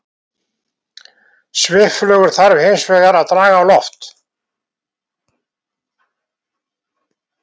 Svifflugur þarf hins vegar að draga á loft.